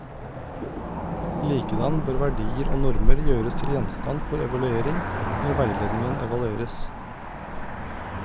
Likedan bør verdier og normer gjøres til gjenstand for evaluering når veiledningen evalueres.